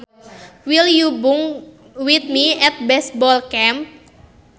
Will you bunk with me at baseball camp